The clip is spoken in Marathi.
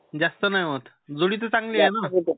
जास्त नाही होत जुडी तर चांगलीये ना?